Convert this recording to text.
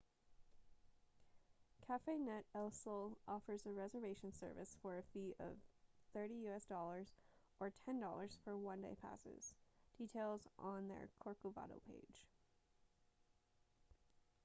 cafenet el sol offers a reservation service for a fee of us$30 or $10 for one-day passes; details on their corcovado page